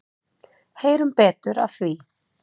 Heyrum betur af því.